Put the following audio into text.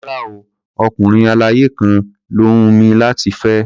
Rárá o, ọkùnrin aláya kan ló hùn mí láti fẹ́.